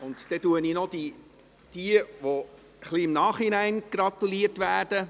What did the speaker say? Dann nenne ich noch jene, denen etwas im Nachhinein gratuliert wird.